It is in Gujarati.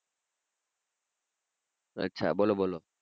અચ્છા બોલો બોલો.